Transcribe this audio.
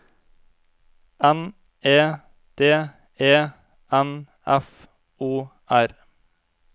N E D E N F O R